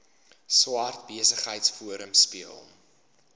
swart besigheidsforum speel